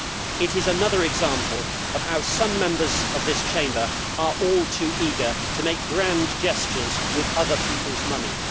It is another example of how some Members of this Chamber are all too eager to make grand gestures with other people's money.